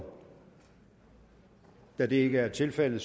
da det ikke er tilfældet